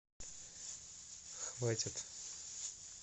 хватит